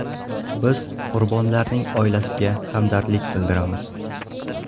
Biz qurbonlarning oilasiga hamdardlik bildiramiz.